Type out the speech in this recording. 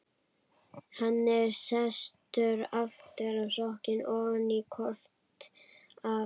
Hann var sestur aftur og sokkinn ofan í kort af